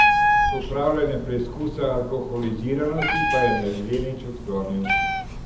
Opravljanje preizkusa alkoholiziranosti pa je mladenič odklonil.